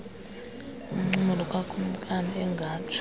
uncumo lukakumkani engatsho